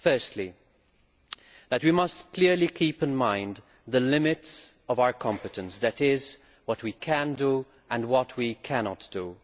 Firstly, we must clearly keep in mind the limits of our competence that is, what we can do and what we cannot do.